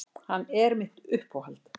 Hann er mitt uppáhald.